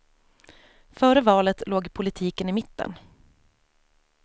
Före valet låg politiken i mitten.